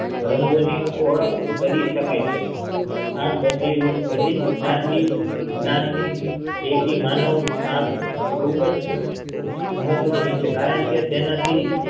રંગો ની ઓળખ કરી શકાય છે આમ બધી બધી જ જ્ઞાતિ જ્ઞાન ની તેથી માનવ આંખ ખુબ જ મહત્વની છે કારણકે તેનાથી